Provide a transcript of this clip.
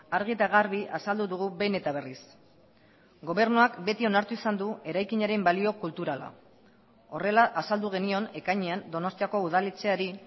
argi eta garbi azaldu dugu behin eta berriz gobernuak beti onartu izan du eraikinaren balio kulturala horrela azaldu genion ekainean donostiako udaletxeari